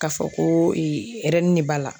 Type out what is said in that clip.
K'a fɔ ko de b'a la